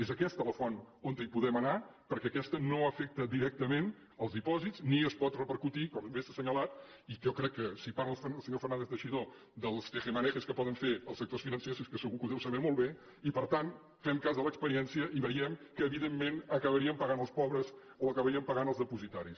és aquesta la font on podem anar perquè aquesta no afecta directament els dipòsits ni es pot repercutir com bé s’ha assenyalat i jo crec que si parla el senyor fernández teixidó dels tejemanejes que poden fer els sectors financers és que segur que ho deu saber molt bé i per tant fem cas de l’experiència i veiem que evidentment acabaríem pagant els pobres o acabarien pagant els dipositaris